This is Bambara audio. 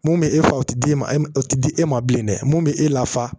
Mun bɛ e fa o tɛ d'e ma e tɛ di e ma bilen dɛ mun bɛ e lafa